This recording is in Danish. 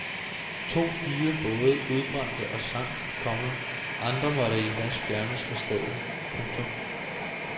To dyre både udbrændte og sank, komma andre måtte i hast fjernes fra stedet. punktum